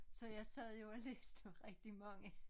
Så jeg sad jo og læste rigtig mange